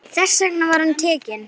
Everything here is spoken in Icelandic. Þess vegna var hann tekinn.